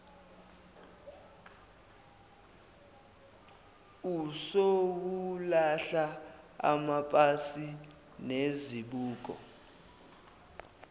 usowulahla amapasi nezibuko